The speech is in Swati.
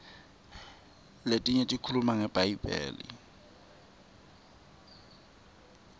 letinye tikhuluma ngebhayibheli